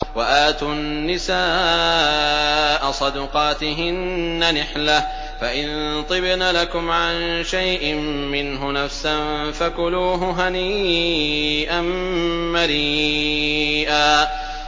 وَآتُوا النِّسَاءَ صَدُقَاتِهِنَّ نِحْلَةً ۚ فَإِن طِبْنَ لَكُمْ عَن شَيْءٍ مِّنْهُ نَفْسًا فَكُلُوهُ هَنِيئًا مَّرِيئًا